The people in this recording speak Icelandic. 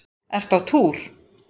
Ertu á túr?